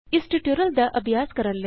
ਇਸ ਟਯੂਟੋਰਿਅਲ ਦਾ ਅਭਿਆਸ ਕਰਨ ਲਈ